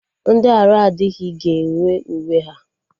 Ndị arụ adịghị ga-enwe uwe ha